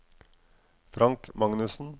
Frank Magnussen